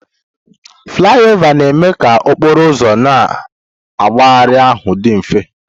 Flaiova na-eme ka okporo ụzọ na mmegharị ahụ dị mfe.